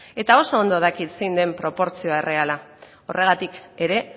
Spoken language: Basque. eta oso ondo dakit zein den proportzio erreala horregatik ere